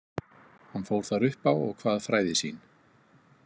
Hann fór þar upp á og kvað fræði sín.